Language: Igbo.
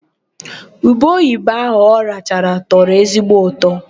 Ube oyibo ahụ ọ rachara tọrọ ezigbo ụtọ.